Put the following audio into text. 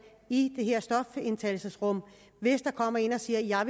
i det her stofindtagelsesrum hvis der kommer en og siger at